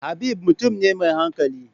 Habib mutum ne mai hankali.